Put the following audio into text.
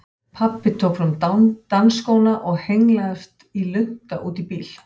Pabbi tók fram dansskóna og hengslaðist í lunta út í bíl.